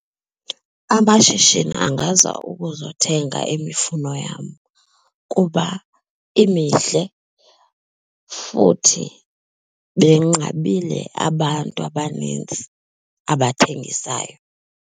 Amashishini angaza ukuzothenga imifuno yam kuba imihle futhi benqabile abantu abanintsi abathengisayo.